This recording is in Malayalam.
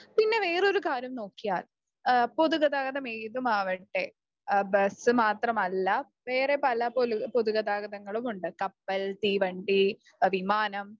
പിന്നെ വേറെ ഒരു കാര്യം നോക്കിയാൽ പൊതുഗതാഗതം ഏതുമാകട്ടെ, ബസ് മാത്രമല്ല വേറെ പല പൊതുഗതാഗതങ്ങളുമുണ്ട് . കപ്പൽ, തീവണ്ടി, വിമാനം